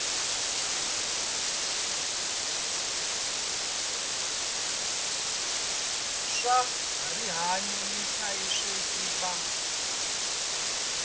swa rihanyu ni vuhlayiseki va